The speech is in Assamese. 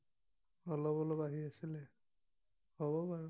অলপ অলপ আহি আছিলে, হব বাৰু।